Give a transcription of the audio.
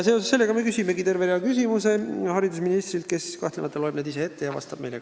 Seoses sellega me küsimegi terve rea küsimusi haridusministrilt, kes kahtlemata loeb need ette ja vastab meile.